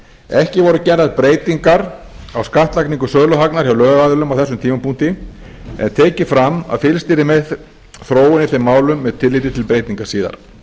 ekki voru gerðar breytingar á skattlagningu söluhagnaðar hjá lögaðilum á þessum tímapunkti en tekið fram að fylgst yrði með þróun í þeim málum með tilliti til breytinga síðar